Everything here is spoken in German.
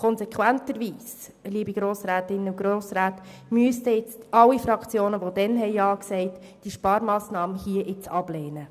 Konsequenterweise müssten alle Fraktionen, die damals Ja sagten, die vorliegende Sparmassnahme ablehnen.